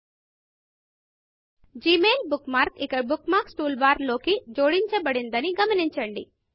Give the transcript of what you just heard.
Gmail bookmarkజిమెయిల్ bookmark ఇక bookmarks toolbarబుక్మార్క్లు టూల్బార్ లోకి జోడించబడిందని గమనించండి